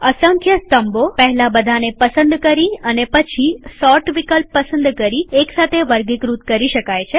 અસંખ્ય સ્તંભોપહેલા બધાને પસંદ કરી અને પછી સોર્ટ વિકલ્પ પસંદ કરી એક સાથે વર્ગીકૃત કરી શકાય છે